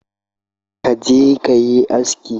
Ka je kayi asiki